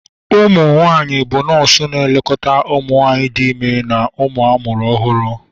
umunwanyi bụ nọọsụ na-elekọta ụmụ nwanyị dị ime na ụmụ ọhụrụ amụrụ ọhụrụ